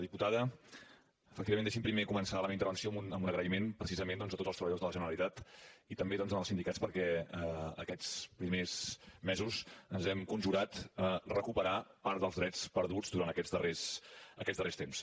diputada efectivament deixi’m primer començar la meva intervenció amb un agraïment precisament doncs a tots els treballadors de la generalitat i també als sindicats perquè aquests primers mesos ens hem conjurat a recuperar part dels drets perduts durant aquests darrers temps